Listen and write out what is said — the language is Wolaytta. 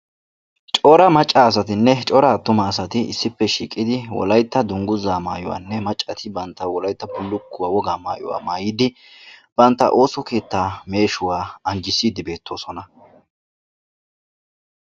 Cora macca asatinne cora attuma asati issippe shiiqidi wolaytta dungguzaa maayuwanne maccati bantta wolaytta bullukkuwa wogaa maayuwa maayidi bantta ooso keettaa neeshuwa anjjissiiddi beettoosona.